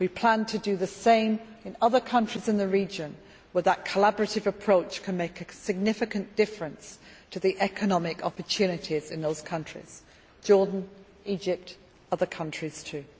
We plan to do the same in other countries in the region where that collaborative approach can make a significant difference to the economic opportunities in those countries Jordan, Egypt, and other countries too.